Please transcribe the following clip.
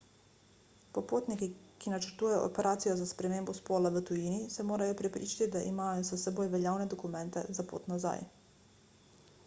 popotniki ki načrtujejo operacijo za spremembo spola v tujini se morajo prepričati da imajo s seboj veljavne dokumente za pot nazaj